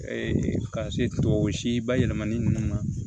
ka se tubabu si bayɛlɛmali nunnu ma